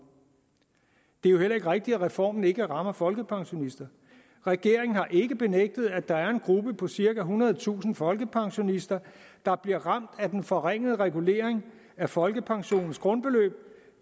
det er jo heller ikke rigtigt at reformen ikke rammer folkepensionister regeringen har ikke benægtet at der er en gruppe på cirka ethundredetusind folkepensionister der bliver ramt af den forringede regulering af folkepensionens grundbeløb